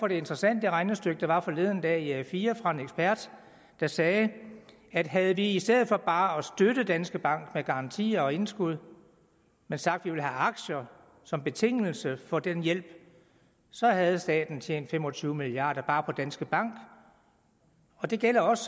et interessant regnestykke der var forleden dag i a4 af en ekspert der sagde at havde vi i stedet for bare at støtte danske bank med garantier og indskud sagt at vi ville have aktier som betingelse for den hjælp så havde staten tjent fem og tyve milliard kroner bare på danske bank og det gælder også